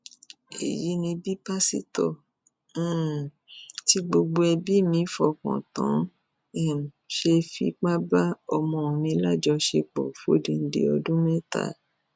èyí ni bí pásítọ um tí gbogbo ẹbí mi fọkàn tán um ṣe fipá bá ọmọ mi lájọṣepọ fódìdì ọdún mẹta